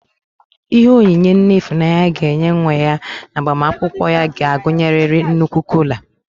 Ihe onyinye nne Ịfụnanya ga-enye nwa ya n'agbamakwụkwọ ya ga-agụnyerịrị nnukwu kuula.